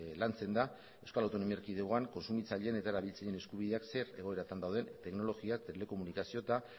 lantzen da euskal autonomia erkidegoan kontsumitzaileen eta erabiltzaileen eskubideak zer egoeretan dauden teknologia telekomunikazio eta